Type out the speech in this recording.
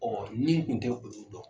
Ɔɔ nin kun tɛ olu dɔn